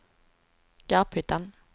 Garphyttan